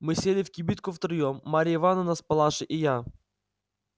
мы сели в кибитку втроём марья ивановна с палашей и я